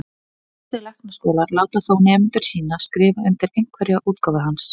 Flestir læknaskólar láta þó nemendur sína skrifa undir einhverja útgáfu hans.